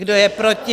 Kdo je proti?